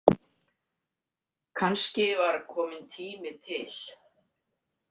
Kannski var kominn tími til?